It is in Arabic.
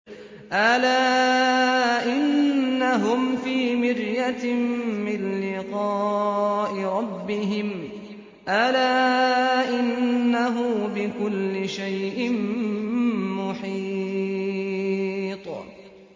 أَلَا إِنَّهُمْ فِي مِرْيَةٍ مِّن لِّقَاءِ رَبِّهِمْ ۗ أَلَا إِنَّهُ بِكُلِّ شَيْءٍ مُّحِيطٌ